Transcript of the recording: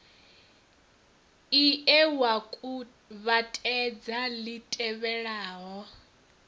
ie wa kuvhatedza li tevhelaho